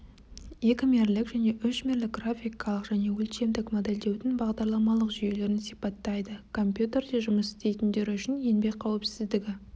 екімерлік және үшмерлік графикалық және өлшемдік модельдеудің бағдарламалық жүйелерін сипаттайды компьютерде жұмыс істейтіндер үшін еңбек қауіпсіздігі